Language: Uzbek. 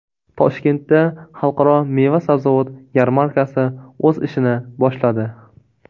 Toshkentda Xalqaro meva-sabzavot yarmarkasi o‘z ishini boshladi.